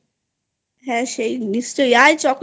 হ্যাঁ সে তো নিশ্চই আয় Chocolate